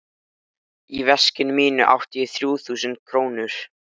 Í veskinu mínu átti ég þrjú þúsund krónur.